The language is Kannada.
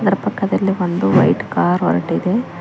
ಅಕ್ಕ ಪಕ್ಕದಲ್ಲಿ ಒಂದು ವೈಟ್ ಕಾರ್ ಹೊರಟಿದೆ.